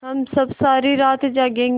हम सब सारी रात जागेंगे